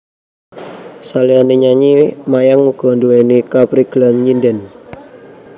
Saliyane nyanyi Mayang uga nduweni kaprigelan nyindhen